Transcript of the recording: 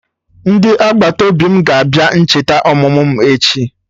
Ndị agbataobi m ga-abịa ncheta ọmụmụ m echi